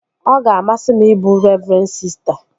Ọ ga-amasị m ịbụ revren sista